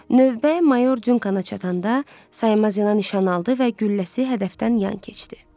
Növbə mayor Dunkan çatanda saymaz yana nişan aldı və gülləsi hədəfdən yan keçdi.